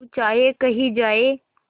तू चाहे कही जाए